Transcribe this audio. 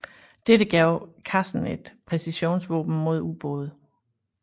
Dette gav klassen et præcisionsvåben mod ubåde